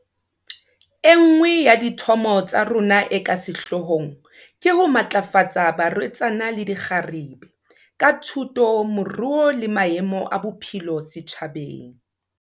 E nngwe ya dithomo tsa rona e ka sehlohlong ke ho matlafatsa barwetsana le dikgarebe, ka thuto, moruo le maemo a bophelo setjhabeng.